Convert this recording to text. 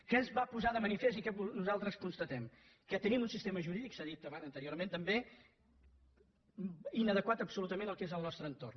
què es va posar de manifest i què constatem nosaltres que tenim un sistema jurídic s’ha dit anteriorment també inadequat absolutament al que és el nostre entorn